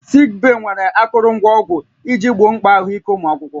Sik bee nwere akụrụngwa ọgwụ iji gboo mkpa ahụike ụmụ akwụkwọ